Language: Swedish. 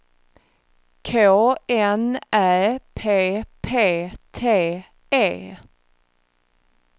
K N Ä P P T E